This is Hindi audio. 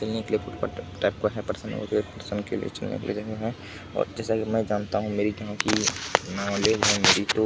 पिने के लिए कुछ टाइप का है और जैसा की मैं जानता हूँ --